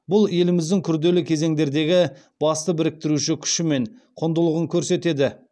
бұл еліміздің күрделі кезеңдердегі басты біріктіруші күші мен құндылығын көрсетеді